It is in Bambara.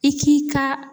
I k'i ka